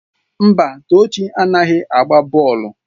Mba, Tochi anaghị agba bọọlụ.